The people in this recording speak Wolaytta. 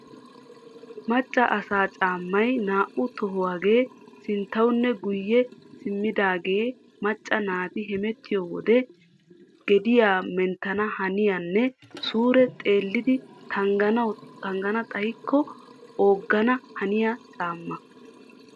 Macca asaa caammay naa"u tohuwagee sinttawunne guyye simmidaagee macca naati hamettiyo wode gediya menttanahaniyanne suure xeellidi tanggana xaykko ogana haniya caammaa.